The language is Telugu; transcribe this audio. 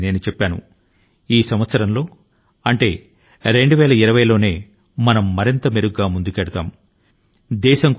ఈ ఒక్క సంవత్సరం లో మాత్రమే మనం మెరుగ్గా రాణించడం కాదు అదే స్థాయి ని ఆ తరువాత కూడా కొనసాగించాలి